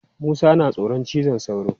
Musa yana tsoron cizon sauro.